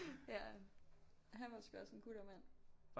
Ja han var sgu også en guttermand